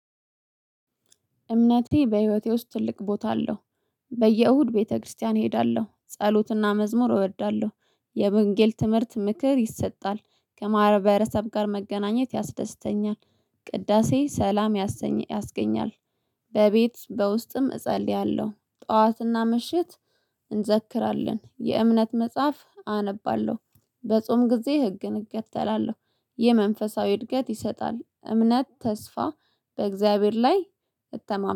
እምነቴ በህይወቴ ውስጥ ትልቅ ቦታ አለው። በየእሁድ ቤተክርስቲያን እሄዳለሁ ጸሎትና መዝሙር እወዳለሁ። የመንጌል ትምህርት ምክር ይሰጣል። ከማህበረሰብ ጋር መገናኘት ያስደስተኛል። ቅዳሴ ሰላም ያስገኛል። በቤት በውስጥም እጸልያለሁ ጠዋትና ምሽት። እንዘክራለን የእምነት መጽሐፍ አነባለሁ። በጾም ጊዜ ህግን እከተላለው። የመንፈሳዊ እድገት ይሰጣል እምነት ተስፋ በእግዚአብሔር ላይ እተማመን